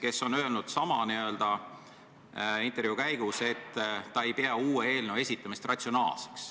Ta on öelnud ühe intervjuu käigus, et ta ei pea uue eelnõu esitamist ratsionaalseks.